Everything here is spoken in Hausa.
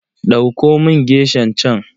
Ɗauko min geshan can.